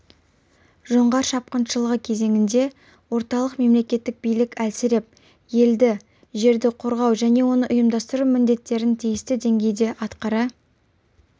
жоңғар шапқыншылығы кезеңінде орталық мемлекеттік билік әлсіреп елді жерді қорғау және оны ұйымдастыру міндеттерін тиісті деңгейде атқара